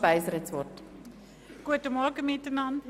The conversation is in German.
Wir sind bei Traktandum 16 stehen geblieben.